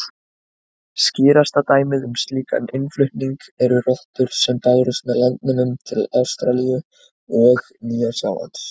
Skýrasta dæmið um slíkan innflutning eru rottur sem bárust með landnemum til Ástralíu og Nýja-Sjálands.